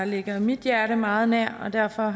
ligger mit hjerte meget nær og derfor